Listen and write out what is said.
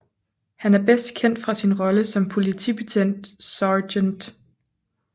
Han er bedst kendt fra sin rolle som politibetjent Sgt